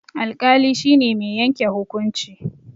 Alƙali shine mai yanke hukunci